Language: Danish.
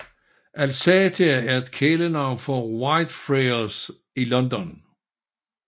Alsatia er et kælenavn for Whitefriars i London